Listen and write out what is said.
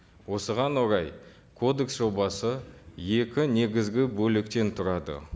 осыған орай кодекс жобасы екі негізгі бөліктен тұрады